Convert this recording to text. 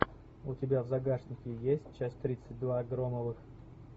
у тебя в загашнике есть часть тридцать два громовых